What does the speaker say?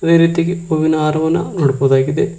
ಅದೇ ರೀತಿಗೆ ಹೂವಿನ ಹಾರವನ್ನ ನೋಡ್ಬಹುದಾಗಿದೆ.